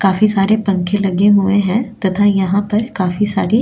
काफी सारे पंखे लगे हुए हैं तथा यहां पर काफी सारी --